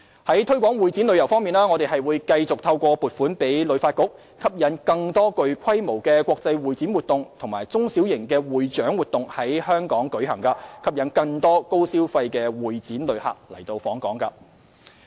在推廣會展旅遊方面，我們會繼續透過向旅發局撥款，吸引更多具規模的國際會展活動及中小型會展及獎勵活動在港舉行，吸引更多高消費的會展旅客來港。